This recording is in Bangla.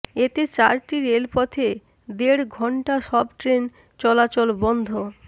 এতে চারটি রেলপথে দেড় ঘণ্টা সব ট্রেন চলাচল বন্ধ